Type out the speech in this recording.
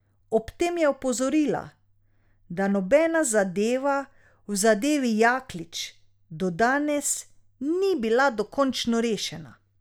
Ob tem je opozorila, da nobena zadeva v zadevi Jaklič do danes ni bila dokončno rešena.